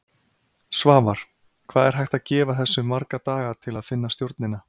Svavar: Hvað er hægt að gefa þessu marga daga til að finna stjórnina?